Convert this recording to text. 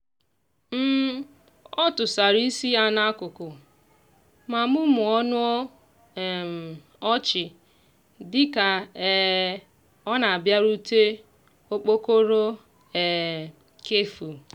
ọ tụsara isi ya n'akụkụ ma mumuo ọnụ um ọchị dịka um ọ na-abịarute okpokoro um kefụ